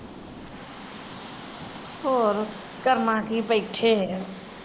ਹੋਰ ਕਰਨਾ ਕਿ ਬਹਿੱਠੇ ਆ